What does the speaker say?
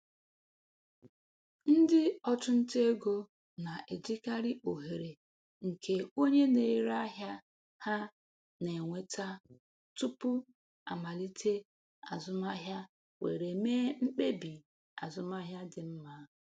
Ndị ọchụnta ego na-ejikarị ohere nke onye na-ere ahịa ha na-enweta tupu amalite azụmaahịa were mee mkpebi azụmaahịa dị mma.